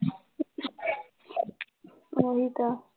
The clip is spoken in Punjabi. ਉਹੀ ਤਾਂ